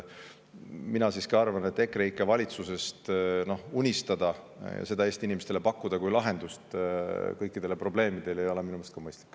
Mina siiski arvan, et EKREIKE valitsusest unistada ja seda Eesti inimestele pakkuda kui lahendust kõikidele probleemidele ei ole mõistlik.